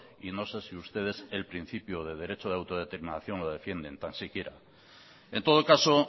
y no sé si ustedes el principio de derecho de autodeterminación lo defienden tan siquiera en todo caso